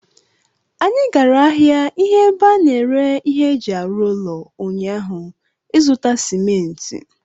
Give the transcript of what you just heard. Anyị gara ahịa ihe ebe a na-ere ihe eji arụ ụlọ ụnyaahụ ịzụta simenti